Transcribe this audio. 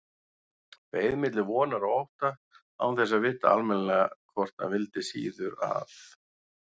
Beið milli vonar og ótta, án þess að vita almennilega hvort hann vildi síður að